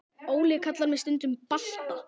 Óli kallar mig stundum Balta